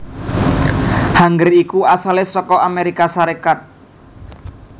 Hanger iku asalé saka Amérika Sarékat